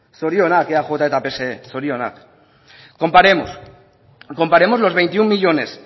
zorionak eaj eta pse zorionak comparemos comparemos los veintiuno millónes